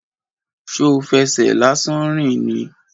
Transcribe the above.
Ṣo fẹsẹ̀ lásán rìn ni?